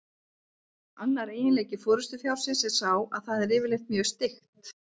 Annar eiginleiki forystufjárins er sá að það er yfirleitt mjög styggt.